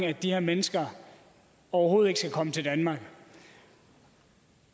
at de her mennesker overhovedet ikke skal komme til danmark